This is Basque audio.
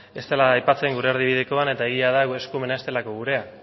ez dela aipatzen gure erdibidekoan eta egia da eskumen hau ez delako gurea